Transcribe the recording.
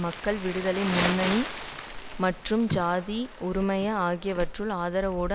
மக்கள் விடுதலை முன்னணி ஜேவிபி மற்றும் ஜாதிக ஹெல உறுமய ஆகியவற்றின் ஆதரவோடு